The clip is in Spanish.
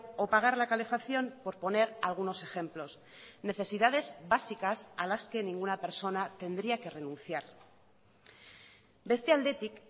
o pagar la calefacción por poner algunos ejemplos necesidades básicas a las que ninguna persona tendría que renunciar beste aldetik